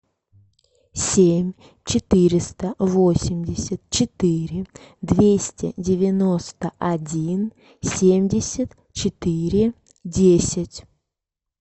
семь четыреста восемьдесят четыре двести девяносто один семьдесят четыре десять